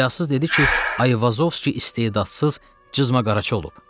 Həyasız dedi ki, Ayvazovski istedadsız cızmaqaraçı olub.